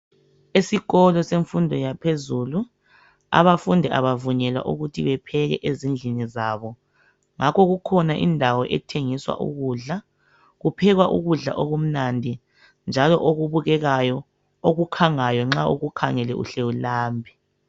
Esikolo semfundo yaphezulu abafundi abavunyelwa ukuthi bepheke ezindlini zabo, ngakho kukhona indawo ethengisa ukudla, kuphekwa ukudla okumnandi njalo okubukekeyo, okukhangayo nxa ukukhangele uhle ulambe.